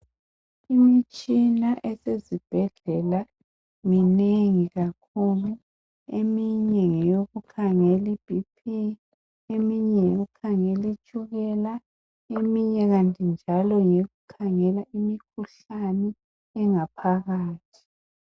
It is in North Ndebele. Imtshina esezibhedlela minengi kakhulu! Eminye ngeyokukhangela iBP. Eminye ngeyokukhangela itshukela. Eminye kanti njalo ngeyokukhangela imikhuhlane engaphakathi.